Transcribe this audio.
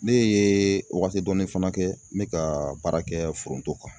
Ne ye wagati dɔnnin fana kɛ n bɛ ka baara kɛ foronto kan.